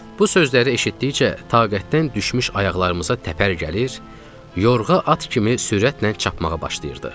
Bu sözləri eşitdikcə taqətdən düşmüş ayaqlarımıza təpər gəlir, yorğa at kimi sürətlə çapmağa başlayırdıq.